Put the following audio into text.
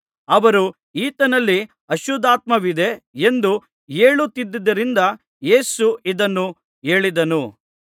ಅವರು ಈತನಲ್ಲಿ ಅಶುದ್ಧಾತ್ಮವಿದೆ ಎಂದು ಹೇಳುತ್ತಿದ್ದರಿಂದ ಯೇಸು ಇದನ್ನು ಹೇಳಿದನು